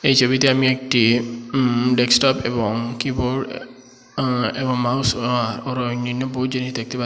এই ছবিতে আমি একটি উম ডেক্সটপ এবং কিবোর্ড আঃ এবং মাউস আঃ আরো অন্যান্য বহুত জিনিস দেখতে পা--